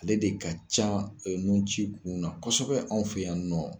Ale de ka ca e nun ci kunw na kosɛbɛ anw fɛ yan nɔ